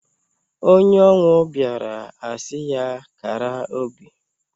Onye ọnwụ bịaara a sị ya kara obi.